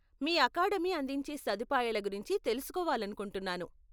మీ academy అందించే సదుపాయాల గురించి తెలుసుకోవాలనుకుంటున్నాను.